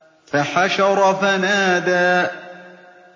فَحَشَرَ فَنَادَىٰ